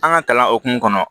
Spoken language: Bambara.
An ka kalan hokumu kɔnɔ